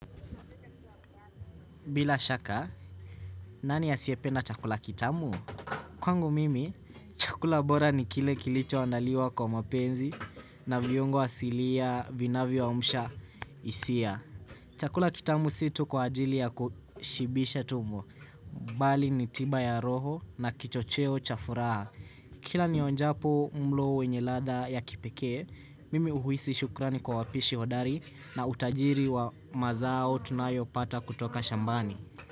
Bila shaka, nani asiyependa chakula kitamu? Kwangu mimi, chakula bora ni kile kilichoandaliwa kwa mapenzi na viungo asilia vinavyo amsha hisia. Chakula kitamu si tu kwa ajili ya kushibisha tumbo. Bali ni tiba ya roho na kichocheo cha furaha. Kila nionjapo mlo wenye ladha ya kipekee, mimi huhisi shukrani kwa wapishi hodari na utajiri wa mazao tunayopata kutoka shambani.